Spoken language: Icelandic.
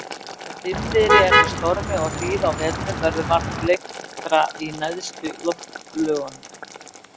Þegar dimmviðri er með stormi og hríð á vetrum, verður vart leiftra í neðstu loftlögunum.